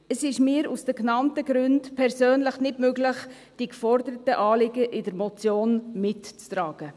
Es ist mir aus den genannten Gründen persönlich nicht möglich, die in der Motion geforderten Anliegen mitzutragen.